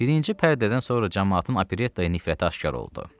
Birinci pərdədən sonra camaatın operettaya nifrəti aşkar oldu.